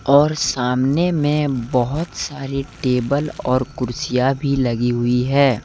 और सामने में बहुत सारी टेबल और कुर्सियां भी लगी हुई है।